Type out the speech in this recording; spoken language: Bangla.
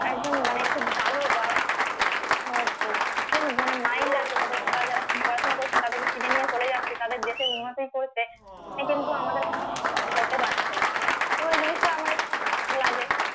একদম মানে খুব ভালো বা আহ করুক মানে mind আছে যাদের বা যারা পড়াশুনা করছেন তাদেরকে কিনে নিয়ে চলে যাচ্ছে তাদের দেশের উন্নতি করতে সে কিন্তু আমাদের করতে পারছে না তো এই জিনিসটা আমার একটু লাগে